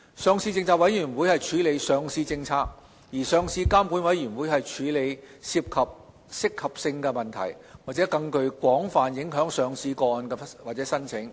上市政策委員會處理上市政策，上市監管委員會則處理涉及合適性問題或具更廣泛影響的上市個案或申請。